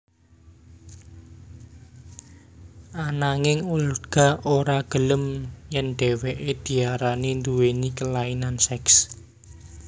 Ananging Olga ora gelem yèn dhéwéké diarani nduwéni kelainan seks